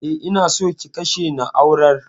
E, ina so ki kashe na'urar.